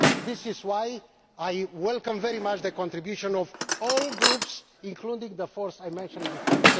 This is why I welcome very much the contribution of all groups, including the four I mentioned before.